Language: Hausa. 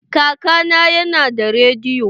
Kaka na ya na da rediyo.